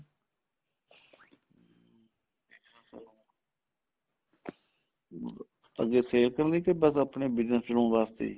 ਅੱਗੇ sale ਕਰਨ ਲਈ ਜਾਂ ਆਪਣੇ business ਚਲਾਉਣ ਵਾਸਤੇ